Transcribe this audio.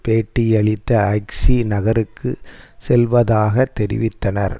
பேட்டியளித்த ஜிக்சி நகருக்கு செல்வதாக தெரிவித்தனர்